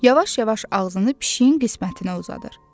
Yavaş-yavaş ağzını pişiyin qismətinə uzadır.